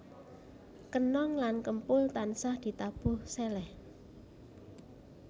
Kenong lan kempul tansah ditabuh seleh